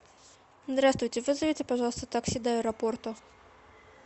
здравствуйте вызовите пожалуйста такси до аэропорта